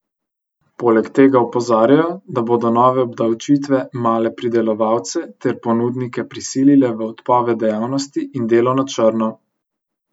Poleg tega opozarjajo, da bodo nove obdavčitve male pridelovalce ter ponudnike prisilile v odpoved dejavnosti in delo na črno.